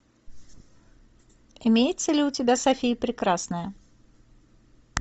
имеется ли у тебя софия прекрасная